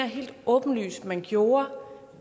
helt åbenlyst man gjorde